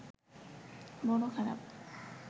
বড় খারাপ